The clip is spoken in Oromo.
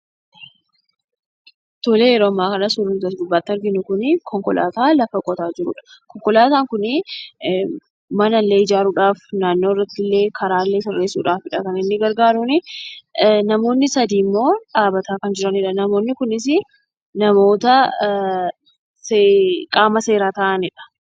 Suurri nuti as gubbaatti arginu kunii konkolaataa lafa qotaa jirudha. Konkolaataan kun mana illee ijaaruudhaaf, karaallee sirreessudhaaf kan inni gargaaruunii. Namoonni sadii ammoo dhaabataa kan jiranidhaa. Namoonni kunis namoota qaama seeraa ta'anidha.